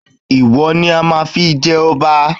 Ìwọ ni a máa fi jẹ ọba